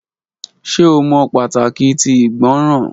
Ṣe o mọ pataki ti igbọràn.